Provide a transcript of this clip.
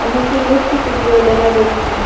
অনেকটি ইলেকট্রিক কুটিও দেখা যাচ্ছে।